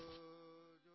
JoJo Joe